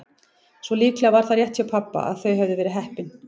Svo líklega var það rétt hjá pabba að þau hefðu verið heppin.